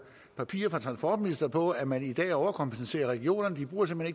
papirer fra transportministeren på at man i dag overkompenserer regionerne de bruger simpelt